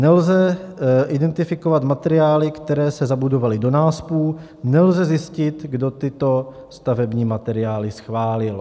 Nelze identifikovat materiály, které se zabudovaly do náspu, nelze zjistit, kdo tyto stavební materiály schválil.